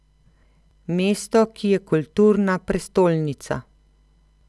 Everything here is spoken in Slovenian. Mesto, ki je kulturna prestolnica.